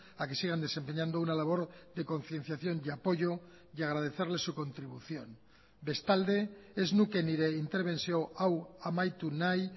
a que sigan desempeñando una labor de concienciación y apoyo y agradecerles su contribución bestalde ez nuke nire interbentzio hau amaitu nahi